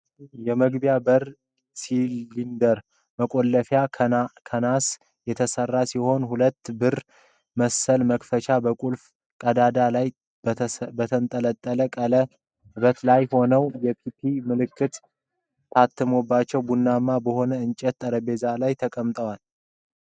የመግቢያ በር ሲሊንደር መቆለፊያ ከናስ የተሰራ ሲሆን፤ ሁለት ብር መሰል መክፈቻዎች በቁልፍ ቀዳዳው ላይ በተሰቀለ ቀለበት ላይ ሆነው፣ የ"ፒፒ" ምልክት ታትሞባቸው ቡናማ በሆነ የእንጨት ጠረጴዛ ላይ ተቀምጠዋል።